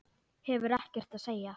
Hefur ekkert að segja.